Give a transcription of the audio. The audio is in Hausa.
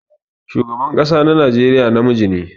Shugaban kasa na Najeriya na miji ne.